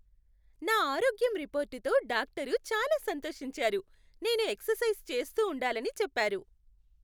నా ఆరోగ్యం రిపోర్టుతో డాక్టరు చాలా సంతోషించారు, నేను ఎక్సర్సైజ్ చేస్తూ ఉండాలని చెప్పారు.